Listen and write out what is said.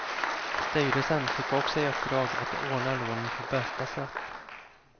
Styrelsen fick också i uppdrag att ordna lånen på bästa sätt.